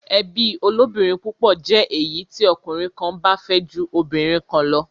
Ẹbí olóbìnrin púpọ̀ jí èyí tí ọkùnrin kan bá fẹ́ ju obìnrin kan lọ.